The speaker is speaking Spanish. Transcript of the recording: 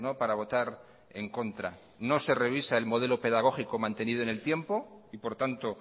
para votar en contra no se revisa el modelo pedagógico mantenido en el tiempo y por tanto